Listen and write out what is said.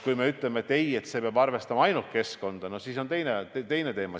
Kui me ütleme, et ei, see peab arvestama ainult keskkonda, no siis on teine teema.